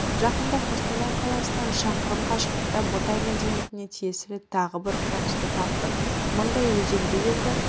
жақында қостанай қаласынан шақырым қашықтықта ботай мәдениетіне тиесілі тағы бір қонысты таптық мұндай ежелгі елді